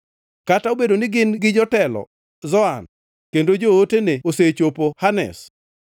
Kata obedo ni gin gi jotelo Zoan kendo jootene osechopo Hanes,